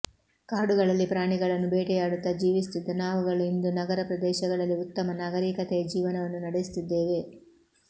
ಕಾಡುಗಳಲ್ಲಿ ಪ್ರಾಣಿಗಳನ್ನು ಬೇಟೆಯಾಡುತ್ತ ಜೀವಿಸುತ್ತಿದ್ದ ನಾವುಗಳು ಇಂದು ನಗರ ಪ್ರದೇಶಗಳಲ್ಲಿ ಉತ್ತಮ ನಾಗರೀಕತೆಯ ಜೀವನವನ್ನು ನಡೆಸುತ್ತಿದ್ದೇವೆ